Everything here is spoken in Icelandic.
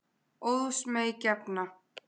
Óðs mey gefna.